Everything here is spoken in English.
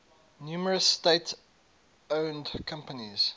numerous state owned companies